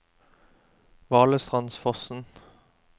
Valestrandsfossen